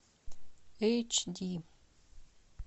эйч ди